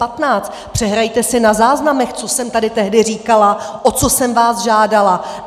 Přehrajte si na záznamech, co jsem tady tehdy říkala, o co jsem vás žádala.